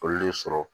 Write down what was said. Olu de sɔrɔ